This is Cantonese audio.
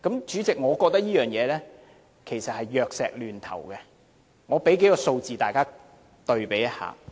主席，我覺得這是藥石亂投，我向大家提供幾個數字對比一下。